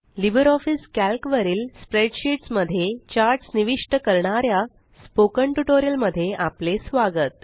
Libre office Calc वरील spreadsheets मध्ये charts निविष्ट करणाऱ्या स्पोकन ट्यूटोरियल मध्ये आपले स्वागत